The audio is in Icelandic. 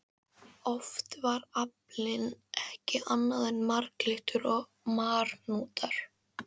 Oft var aflinn ekki annað en marglyttur og marhnútar.